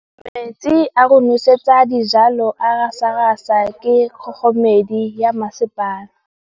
Metsi a go nosetsa dijalo a gasa gasa ke kgogomedi ya masepala.